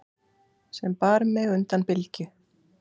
sem bar mig undan bylgju.